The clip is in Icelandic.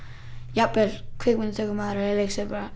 jafnvel kvikmyndatökumaður eða leikstjóri bara